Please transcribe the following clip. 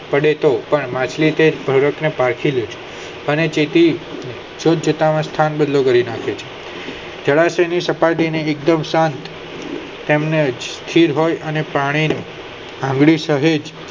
પડે તો પણ માછલી પછી લે અને જેથી જૂથ જૂથ ના સ્થાન બદલી કરી નાખે છે જળાશય ની સપાટી ને એકદમ શાંત તેમજ સ્થિર હોય અને પાણી આગલી સહેજ